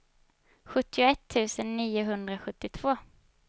sjuttioett tusen niohundrasjuttiotvå